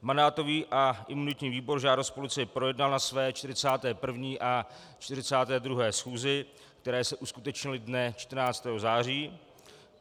Mandátový a imunitní výbor žádost policie projednal na své 41. a 42. schůzi, které se uskutečnily dne 14. září.